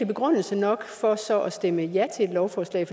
begrundelse nok for så at stemme ja til et lovforslag